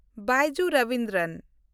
Byju Ravindran